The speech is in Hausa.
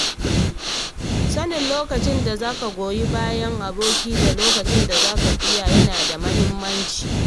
Sanin lokacin da za ka goyi bayan aboki da lokacin da za ka ƙiya yana da mahimmanci.